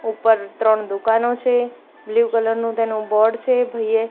ઉપર ત્રણ દુકાનો છે બ્લુ કલર નું તેનો બોર્ડ છે ભઈ એ--